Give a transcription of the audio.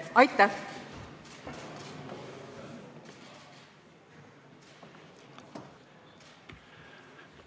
Aitäh!